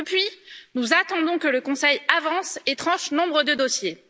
Depuis, nous attendons que le Conseil avance et tranche nombre de dossiers.